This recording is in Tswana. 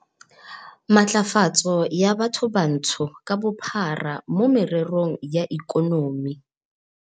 Matlafatso ya Bathobantsho ka Bophara mo Mererong ya Ikonomi